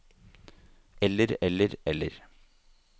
eller eller eller